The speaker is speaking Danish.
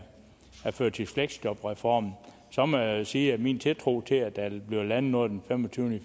førtids fleksjob reformen må jeg sige at min tiltro til at der vil blive landet noget den femogtyvende